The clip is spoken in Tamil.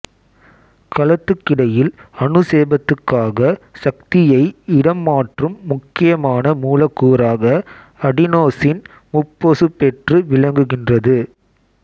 கலத்துக்கிடையில் அனுசேபத்துக்காக சக்தியை இடம் மாற்றும் முக்கியமான மூலக்கூறாக அடினோசின் முப்பொசுபேற்று விளங்குகின்றது